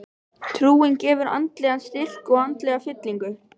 Trúin gefur andlegan styrk og andlega fyllingu.